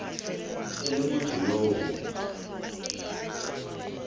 e le motho yo go